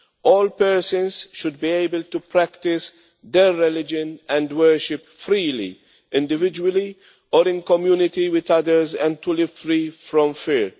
All persons should be able to practise their religion and worship freely, individually or in community with others, and to live free from fear.